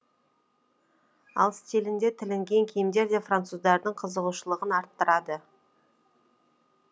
аң стилінде тігілген киімдер де француздардың қызығушылығын арттырады